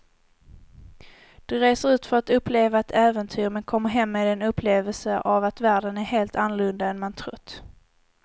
Du reser ut för att uppleva ett äventyr men kommer hem med en upplevelse av att världen är helt annorlunda än man trott.